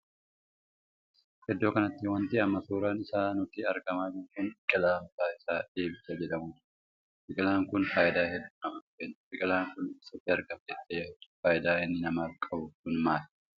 Iddoo kanatti wanti amma suuraan isaa nutti argamaa jiru kun biqilaa maqaan isaa dheebicha jedhamudha. biqilaan kun faayidaa hedduu namaaf kenna. biqilaan Kun eessatti argama jettee yaadda? faayidaa inni namaaf qabu kun maal?